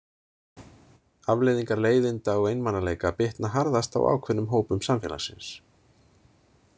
Afleiðingar leiðinda og einmanaleika bitna harðast á ákveðnum hópum samfélagsins.